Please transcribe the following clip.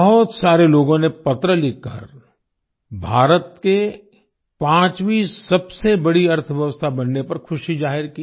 बहुत सारे लोगों ने पत्र लिखकर भारत के 5वीं सबसे बड़ी अर्थव्यवस्था बनने पर खुशी जाहिर की